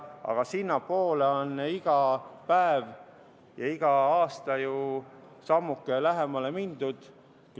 Aga sellele on iga päev ja iga aasta ju sammuke lähemale mindud.